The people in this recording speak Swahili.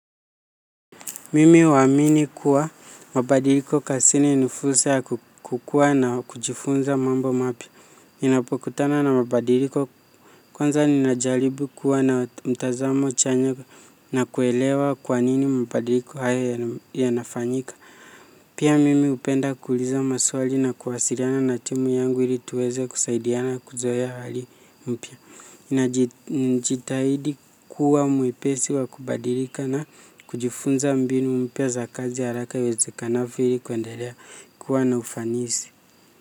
Mimi uwamini kuwa mabadiliko kasini nifursa kukua na kujifunza mambo mapia. Ninapokutana na mabadiliko kwanza ninajalibu kuwa na mtazamo chanya na kuelewa kwanini mabadiliko haya ya nafanyika. Pia mimi upenda kuliza maswali na kuwasiriana na timu yangu ili tuweze kusaidiana kuzoeya hali mpia. Ninajitahidi kuwa mwepesi wa kubadirika na kujifunza mbinu mpia za kazi haraka iwezakanafio ili kuendelea kuwa na ufanisi.